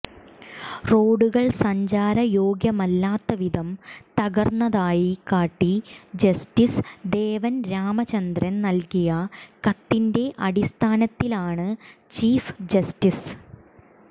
റോഡുകൾ സഞ്ചാരയോഗ്യമല്ലാത്തവിധം തകർന്നതായി കാട്ടി ജസ്റ്റിസ് ദേവൻ രാമചന്ദ്രൻ നൽകിയ കത്തിൻെറ അടിസ്ഥാനത്തിലാണ് ചീഫ് ജസ്റ്റിസ്